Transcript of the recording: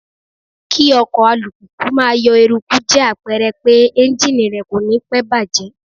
Kí ọkọ̀ alùpùpù máa yọ eruku jẹ́ àpẹrẹ pé Ẹ́njíníì rẹ̀ kò ní pẹ́ bàjẹ́.